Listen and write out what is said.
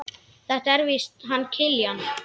Þetta er víst hann Kiljan.